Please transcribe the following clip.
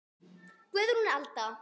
Guðrún Alda.